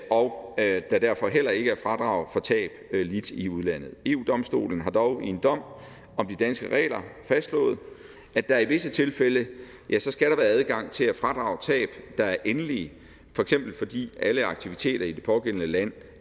og at der derfor heller ikke er fradrag for tab lidt i udlandet eu domstolen har dog i en dom om de danske regler fastslået at der i visse tilfælde skal være adgang til at fradrage tab der er endelige for eksempel fordi alle aktiviteter i det pågældende land